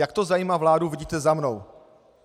Jak to zajímá vládu, vidíte za mnou.